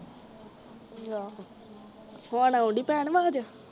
ਨੀਂ ਆਹੋ ਹੁਣ ਆਉਣ ਡਈ ਭੈਣ ਆਵਾਜ਼